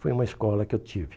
Foi uma escola que eu tive.